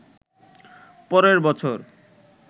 পরের বছর